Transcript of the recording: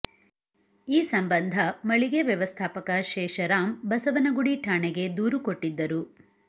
ಈ ಸಂಬಂಧ ಮಳಿಗೆ ವ್ಯವಸ್ಥಾಪಕ ಶೇಷರಾಮ್ ಬಸವನಗುಡಿ ಠಾಣೆಗೆ ದೂರು ಕೊಟ್ಟಿದ್ದರು